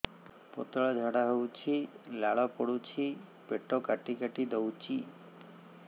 ପତଳା ଝାଡା ହଉଛି ଲାଳ ପଡୁଛି ପେଟ କାଟି କାଟି ଦଉଚି